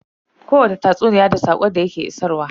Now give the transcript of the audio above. Kowani tatsuniya da saƙon da ya ke isarwa.